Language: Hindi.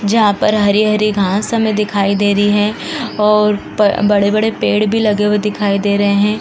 जहां पर हरी-हरी घास हमें दिखाईं दे रही हैं और ब बड़े-बड़े पेड़ भी लगे हुए दिखाईं दे रहे हैं।